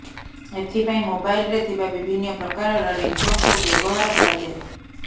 ଏଥିପାଇଁ ମୋବାଇଲରେ ଥିବା ବିଭିନ୍ନ ପ୍ରକାରର ରିଙ୍ଗଟୋନକୁ ବ୍ୟବହାର କରାଯାଏ